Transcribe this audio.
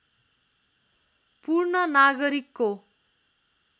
पूर्ण नागरिकको